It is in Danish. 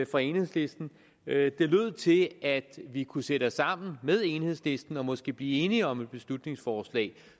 fra enhedslisten det lød til at vi kunne sætte os sammen med enhedslisten og måske blive enige om et beslutningsforslag